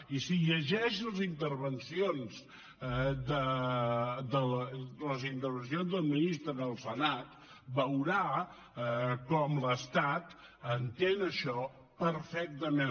i si llegeix les intervencions dels ministres al senat veurà com l’estat entén això perfectament